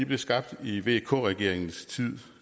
blev skabt i vk regeringens tid